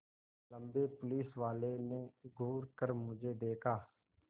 लम्बे पुलिसवाले ने घूर कर मुझे देखा